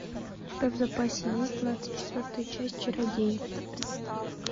у тебя в запасе есть двадцать четвертая часть чародеи